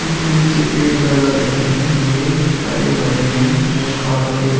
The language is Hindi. ऊंचे-ऊंचे पेड़ लगा रखे हैं। ये हरे-भरे हैं। ये पार्क के --